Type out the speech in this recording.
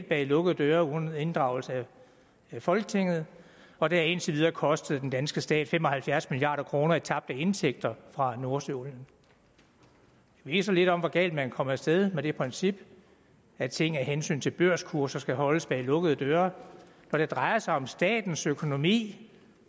bag lukkede døre uden inddragelse af folketinget og det har indtil videre kostet den danske stat fem og halvfjerds milliard kroner i tabte indtægter fra nordsøolien det viser lidt om hvor galt man kan komme af sted med det princip at ting af hensyn til børskurser skal holdes bag lukkede døre når det drejer sig om statens økonomi